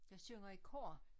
Jeg synger i kor